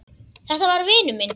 Þetta var vinur minn.